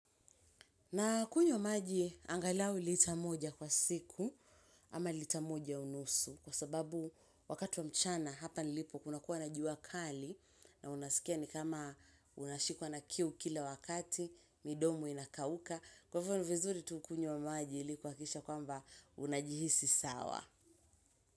Na kunywa maji angalau lita moja kwa siku ama lita moja unusu kwa sababu wakati wa mchana hapa nilipo kuna kuwa na jua kali na unaskia ni kama unashikwa na kiu kila wakati, midomo inakauka. Kwa hivo ni vizuri tu ukunywe maji ilikuhakisha kwamba unajihisi sawa.